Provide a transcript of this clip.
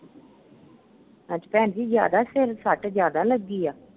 ਅੱਛਾ ਭੈਣ ਜੀ ਜਿਆਦਾ ਸਿਰ ਫੱਟ, ਜਿਆਦਾ ਲੱਗੀ ਆ?